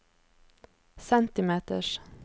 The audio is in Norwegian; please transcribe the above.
centimeters